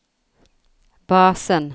basen